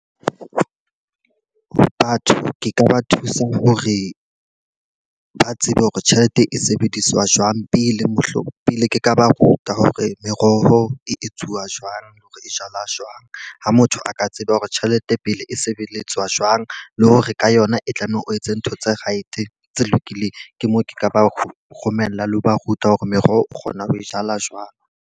Batho ke ka ba thusa hore ba tsebe hore tjhelete e sebediswa jwang pele mohlomong pele ke ka ba ruta hore meroho e etsuwa jwang, ho jala jwang. Ha motho a ka tseba hore tjhelete pele e sebeletswa jwang, le hore ka yona e tlameha o etse ntho tse right tse lokileng. Ke mo ke ka ba romella le ho ba ruta hore meroho o kgona ho e jala jwang.